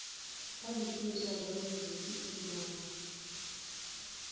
kha zwiimiswa sa dziyunivesiti na